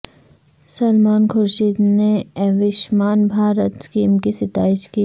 سلمان خورشید نے Ayushman Bharat scheme کی ستائش کی